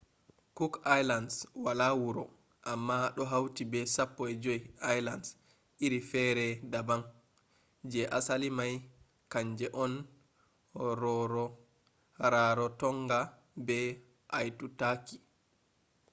cook island wala wuro amma ɗo hauti be 15 islands iri fere daban. je asali mai kanje on rarotonga be aitutaki